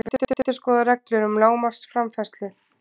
Vill endurskoða reglur um lágmarksframfærslu